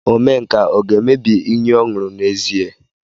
Omenka ọ ga-emebi iyi ọ ṅụrụ n'ezie?